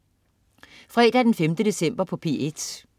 Fredag den 5. december - P1: